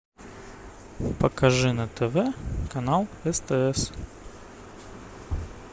покажи на тв канал стс